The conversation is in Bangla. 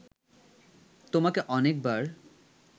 তোমাকে অনেকবার